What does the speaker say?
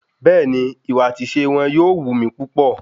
Bẹ́ẹ̀ni, ìwà àti ìṣe wọn yóò wù mí púpọ̀.